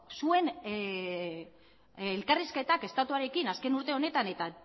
zuen elkarrizketak estatuarekin azken urte honetan eta